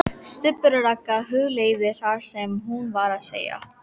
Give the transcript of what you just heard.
STUBBUR OG RAGGA, hugleiðir það sem hún var að segja.